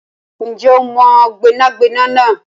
Ǹjẹ́ o mọ gbẹ́nàgbẹnà náà?